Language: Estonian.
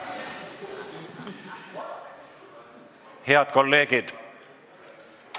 Head kolleegid!